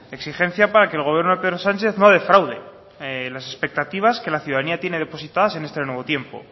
exigencia para que el gobierno de pedro sánchez no defraude las expectativas que la ciudadanía tiene depositadas en este nuevo tiempo